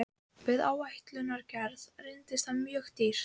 Við áætlunargerð reynist það mjög dýrt.